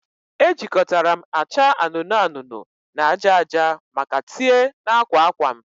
Ejikọtara m acha anụnụ anụnụ na aja aja maka tie na akwa akwa m